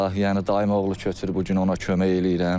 Yəni dayımoğlu köçür, bu gün ona kömək eləyirəm.